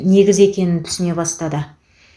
негізі екенін түсіне бастады